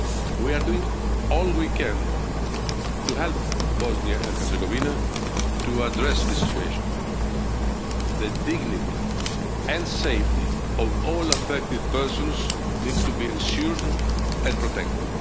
crisis. We are doing all we can to help Bosnia and Herzegovina to address this situation. The dignity and safety of all affected persons needs to be ensured and